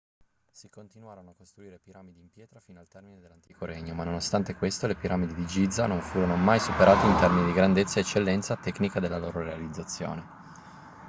si continuarono a costruire piramidi in pietra fino al termine dell'antico regno ma nonostante questo le piramidi di giza non furono mai superate in termini di grandezza e eccellenza tecnica della loro realizzazione